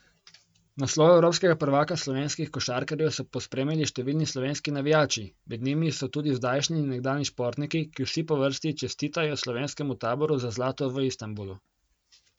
Naslov evropskega prvaka slovenskih košarkarjev so pospremili številni slovenski navijači, med njimi so tudi zdajšnji in nekdanji športniki, ki vsi po vrsti čestitajo slovenskemu taboru za zlato v Istanbulu.